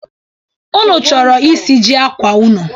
Unu choro isiji akwa unu?